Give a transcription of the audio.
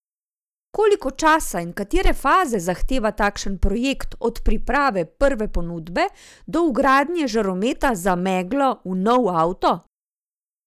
Koliko časa in katere faze zahteva takšen projekt od priprave prve ponudbe do vgradnje žarometa za meglo v nov avto?